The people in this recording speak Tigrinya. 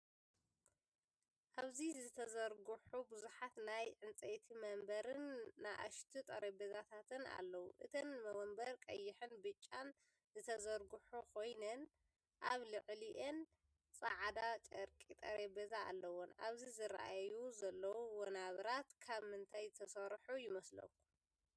ኣብዚ ዝተዘርግሑ ብዙሓት ናይ ዕንጨይቲ መንበርን ንኣሽቱ ጠረጴዛታትን ኣለዉ። እተን መንበር ብቐይሕን ብጫን ዝተሰርሑ ኮይነን፡ ኣብ ልዕሊአን ጻዕዳ ጨርቂ ጠረጴዛ ኣለወን። ኣብዚ ዝረኣዩ ዘለዉ መንበርት ካብ ምንታይ ዝተሰርሑ ይመስለኩም?